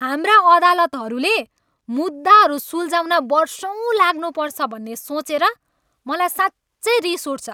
हाम्रा अदालतहरूले मुद्दाहरू सुल्झाउन वर्षौँ लाग्नुपर्छ भन्ने सोचेर मलाई साँच्चै रिस उठ्छ।